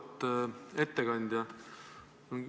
Auväärt ettekandja!